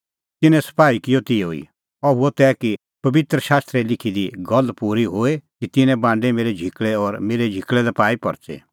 तिन्नैं सपाही किअ तिहअ ई अह हुअ तै कि पबित्र शास्त्रे लिखी दी गल्ल पूरी होए कि तिन्नैं बांडै मेरै झिकल़ै और मेरै झिकल़ै लै पाई परच़ी